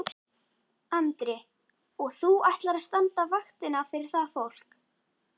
Andri: Og þú ætlar að standa vaktina fyrir það fólk?